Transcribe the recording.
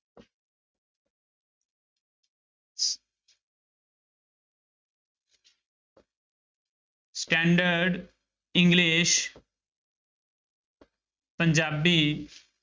Standard english Punjabi